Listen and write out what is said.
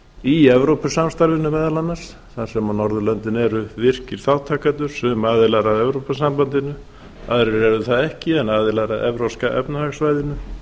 í evrópusamstarfinu meðal annars þar sem norðurlöndin eru virkir þátttakendur sum aðilar að evrópusambandi aðrir eru það ekki en aðilar að evrópska efnahagssvæðinu